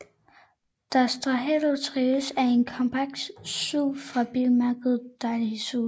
Daihatsu Terios er en kompakt SUV fra bilmærket Daihatsu